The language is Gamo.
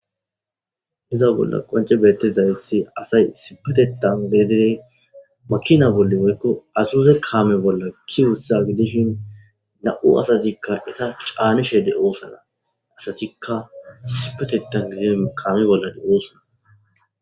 Iza bolla qonce beettezayitsi asay isipatetan gedee makina bolle woykko asuze kaame bolla ki wutha gidishin na7u asatikka eta caanishe de oosana asatikka isipatetan gidin kaami bollae oosana.